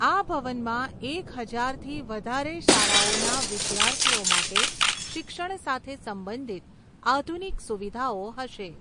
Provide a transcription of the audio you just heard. આ ભવનમાં એક હજારથી વધારે શાળાઓના વિદ્યાર્થીઓ માટે શિક્ષણ સાથે સંબંધિત આધુનિક સુવિધાઓ હશે.